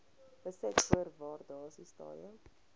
besit voor waardasiedatum